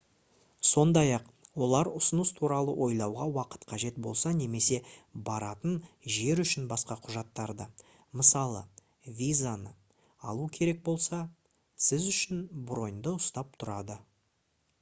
сондай-ақ олар ұсыныс туралы ойлауға уақыт қажет болса немесе баратын жер үшін басқа құжаттарды мысалы визаны алу керек болса сіз үшін броньді ұстап тұрады